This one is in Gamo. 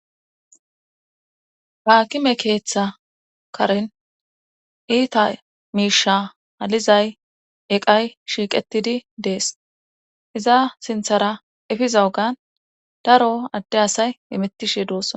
haakime keeththa karin iita miisha halizay eqay shiiqetidi dees iza sinthara efiza ogan daro adde asay imettishe doossa